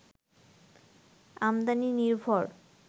আমদানি নির্ভর